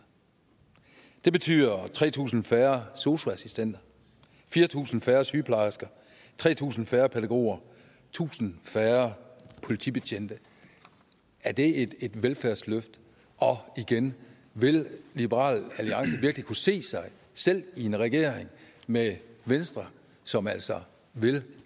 det betyder tre tusind færre sosu assistenter fire tusind færre sygeplejersker tre tusind færre pædagoger tusind færre politibetjente er det et velfærdsløfte og igen vil liberal alliance virkelig kunne se sig selv i regeringen med venstre som altså vil